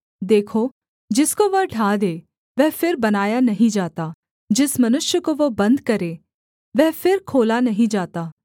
देखो जिसको वह ढा दे वह फिर बनाया नहीं जाता जिस मनुष्य को वह बन्द करे वह फिर खोला नहीं जाता